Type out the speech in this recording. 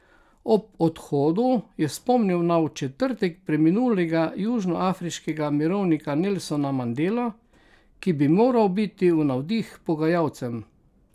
Ob odhodu je spomnil na v četrtek preminulega južnoafriškega mirovnika Nelsona Mandelo, ki bi moral biti v navdih pogajalcem.